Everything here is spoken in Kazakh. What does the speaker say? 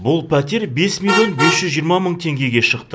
бұл пәтер бес миллион бес жүз жиырма мың теңгеге шықты